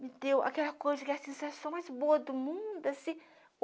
me deu aquela coisa, aquela sensação mais boa do mundo, assim.